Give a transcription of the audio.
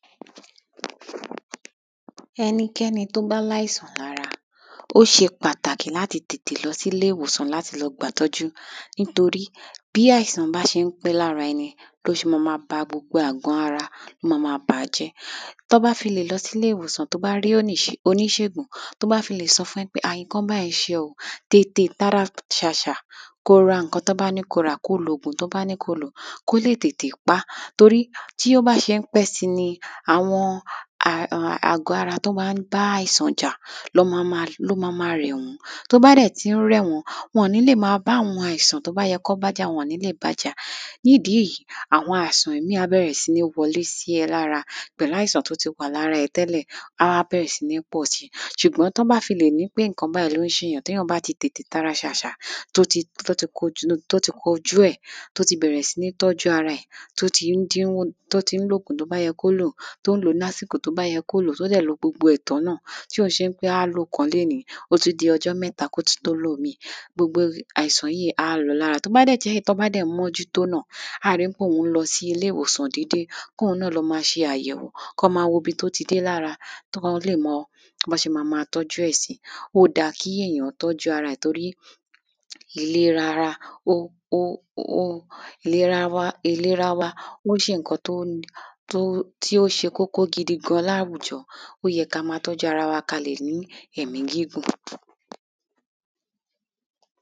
àwòrán èyí jẹ́ iwájú ìta ilé tí wọ́n sá àwọn asọ sórí okùn. ó jẹ́ àyíká tó jẹ́ wípé ní wájú ìta ilé ni a má ń ta okùn púpọ̀ sí, táa sì máa sá asọ lọ rẹpẹtẹ sórí àwọn okùn yìí tí orùn yóò pawọ́n kí àwọn asọ hun lè baà gbẹ dáadáa lára ìwúlò sísá asọ sórí okùn níta òun ni wí pé alákọ́kọ́, ó dára láti máa sá asọ sórí okùn ní wájú ìta nítorí pé kìí jẹ́ iná, orùn tó wà níta tó asọ gbẹ, kò nílò ká sẹ́sẹ̀ máa lo ẹ̀rọ ìfọsọ iná láti gbẹ àwọn asọ tá bá ti fọwọ́ fọ̀ ẹlẹ́kejì ni í pé àwọn asọ ta bá sá sí orí okùn níta tí orùn gbẹ wọ́n, wọ́n máa ń ní òórùn tó fanimọ́ra lẹ́hìn ìgbà tí wọ́n bá gbẹ tán, táa sì nílò láti ká wọn wọlé ẹlẹ́kẹ́ta ni pé sísá asọ sí orí okùn ní wájú ìta ilé ma n jẹ́ kí ẹ̀mí asọ náà gùn, èyí yóò tún mú kí a rí asọ oun wọ̀ pẹ́pẹ́pẹ́ kò dà bíi ẹ̀rọ̀ ìfọsọ oní iná tó jẹ́ pé ńse lòun ma ń yasọ ní gbogbo ìgbà ẹlẹ́kẹrin, ìrọ̀rùn ló jẹ́ fún àwọn olùgbé lágbègbè kan láti sá asọ wọn sórí okùn ní wájú ìta agbègbè náà pàápàá jùlọ àwọn tí wọn kò ní àǹfànì láti ra ẹ̀rọ ìfọsọ oní ná àwọn ǹkan tó yẹ kí a máa kíyèsí táa bá fẹ́ sá asọ sórí okùn ní wájú ìta, òun ni wípé a gbọ́dọ̀ máa sọ bí ojú ọjọ́ bá se rí kí a tó gbé asọ síta láti sá a gbọ́dọ̀ ní àyè tó pọ̀ lórí okùn tí yóò gba gbogbo àwọn asọ táa ti fọwọ́ fọ̀ lára àwọn ìpèníjà tàbí abúrú tó wà ní bi ká sá asọ síta ni wípé àwọn kòkòrò tàbi ẹranko asenijàm̀bá bíi ejò, àkekè, ọmọnílé, ìdun lè sápamọ́ sí àárín asọ táa bá ti sá tí a sì lè máà funra títí táa ká wọn wọlé nínú àwòrán yí ni ó sàfíhàn agbègbè kan tí wọ́n gbé sá àwọn asọ ní wájú ìta ilé náà ní abẹ́ òrùlé náà ni wọ́n tún sá àwọn asọ lọ rẹpẹtẹ síbẹ̀. wọ́n wá fi amúasọdúró mú àwọn asọ ọ̀hún mọ́ orí okùn kí ó máa ba já bọ́ sílẹ̀. ewé ọ̀pẹ wà ní lẹ́gbẹ̀ ilé ọ̀hún, àyíká ọ̀hún jọ í pé ojú ọjọ́ tutù ninini ní bẹ̀. ilé náà ní òrùlé lórí, àwọn fèrèsé ti ìgbàlódé ni wọ́n kàn mọ́ ilé ọ̀hún, òpó iná wà láyíká ilé náà ó dára púpọ̀ láti máa sá àwọn asọ tí a bá ti fọwọ́ fọ̀ sórí okùn ní iwájú ìta, kí a sì rí i dájú wípé a ká àwọn asọ hún náà wọlé tí ó bá ti gbẹ kí òjò máà baà pa wọ́n mọ́lẹ̀